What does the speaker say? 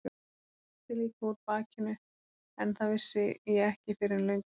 Það blæddi líka úr bakinu en það vissi ég ekki fyrr en löngu síðar.